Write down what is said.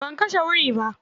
Ban kashe wuri ba.